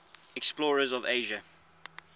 explorers of asia